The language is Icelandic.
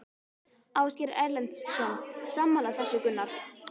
Ásgeir Erlendsson: Sammála þessu Gunnar?